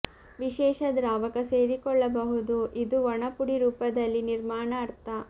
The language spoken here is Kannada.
ವಿಶೇಷ ದ್ರಾವಕ ಸೇರಿಕೊಳ್ಳಬಹುದು ಇದು ಒಣ ಪುಡಿ ರೂಪದಲ್ಲಿ ನಿರ್ಮಾಣ ಅರ್ಥ